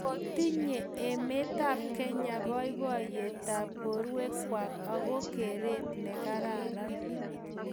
kotinye emetab Kenya boiboiyetab borwekwai ago gereet negararan